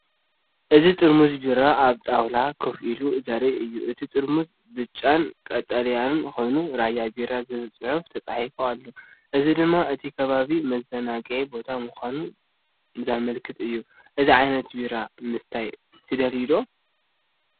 እዚ ጥርሙዝ ቢራ ኣብ ጣውላ ኮፍ ኢሉ ዘርኢ እዩ። እቲ ጥርሙዝ ብጫን ቀጠልያን ኮይኑ “ራያ ቢራ” ዝብል ጽሑፍ ተጻሒፉሉ ኣሎ። እዚ ድማ እቲ ከባቢ መዘናግዒ ቦታ ምዃኑ ዘመልክት እዩ። እዚ ዓይነት ቢራ ምስታይ ትደልይ ዶ?